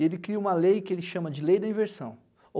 E ele cria uma lei que ele chama de Lei da Inversão.